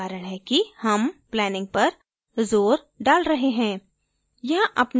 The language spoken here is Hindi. यही एक कारण है कि हम planning पर जोर डाल रहे हैं